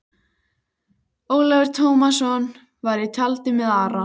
Ólafur Tómasson var í tjaldi með Ara.